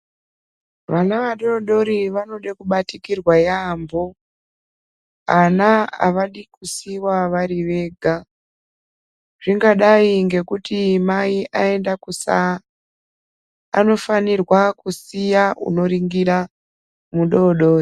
Vana vadodori vanoda kubatikirwa yambo Ana avadi kusiiwa vari Vega zvingadai nekuti Mai aenda kusaa Anofanirwa kusiya anoningirwa mudodori.